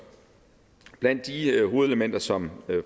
blandt de hovedelementer som